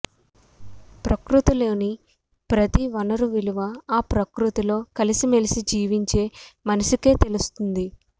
ప్రకృతిలోని ప్రతి వనరు విలువా ఆ ప్రకృతిలో కలిసిమెలసి జీవించే మనిషికే తెలుస్తుంది